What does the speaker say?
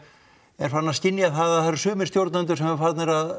er farinn að skynja það eru sumir stjórnendur sem eru farnir að